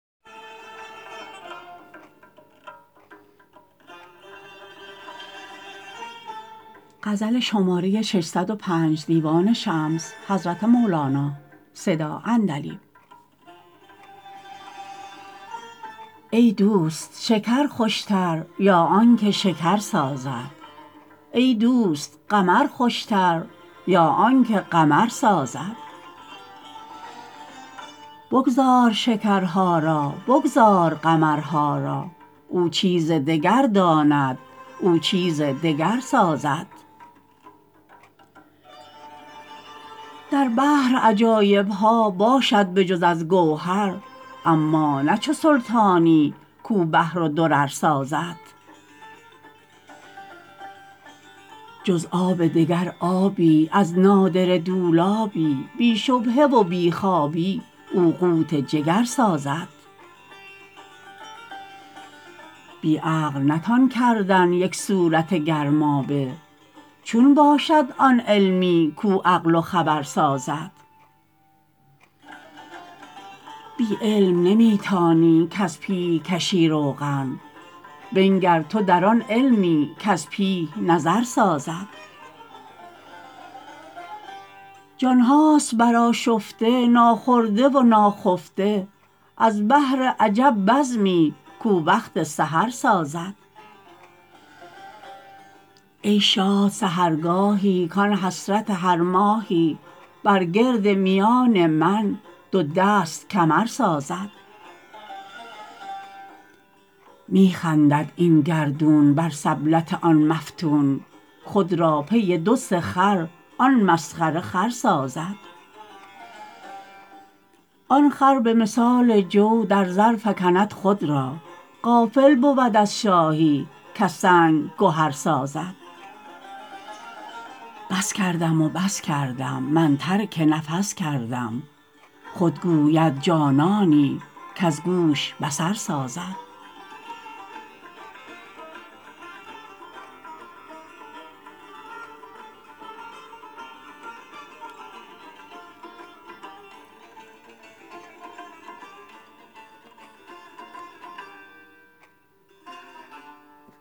ای دوست شکر خوشتر یا آنک شکر سازد ای دوست قمر خوشتر یا آنک قمر سازد بگذار شکرها را بگذار قمرها را او چیز دگر داند او چیز دگر سازد در بحر عجایب ها باشد به جز از گوهر اما نه چو سلطانی کو بحر و درر سازد جز آب دگر آبی از نادره دولابی بی شبهه و بی خوابی او قوت جگر سازد بی عقل نتان کردن یک صورت گرمابه چون باشد آن علمی کو عقل و خبر سازد بی علم نمی تانی کز پیه کشی روغن بنگر تو در آن علمی کز پیه نظر سازد جان ها است برآشفته ناخورده و ناخفته از بهر عجب بزمی کو وقت سحر سازد ای شاد سحرگاهی کان حسرت هر ماهی بر گرد میان من دو دست کمر سازد می خندد این گردون بر سبلت آن مفتون خود را پی دو سه خر آن مسخره خر سازد آن خر به مثال جو در زر فکند خود را غافل بود از شاهی کز سنگ گهر سازد بس کردم و بس کردم من ترک نفس کردم خود گوید جانانی کز گوش بصر سازد